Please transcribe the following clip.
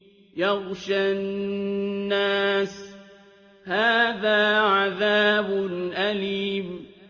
يَغْشَى النَّاسَ ۖ هَٰذَا عَذَابٌ أَلِيمٌ